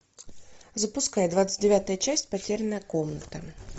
запускай двадцать девятая часть потерянная комната